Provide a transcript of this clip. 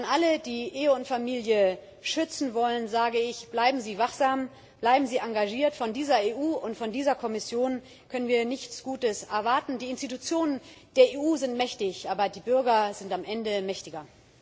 Allen, die Ehe und Familie schützen wollen, sage ich Bleiben Sie wachsam, bleiben Sie engagiert! Von dieser EU und von dieser Kommission können wir nichts Gutes erwarten. Die Institutionen der EU sind mächtig, aber die Bürger sind am Ende mächtiger.